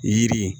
Yiri